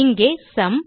இங்கே சும்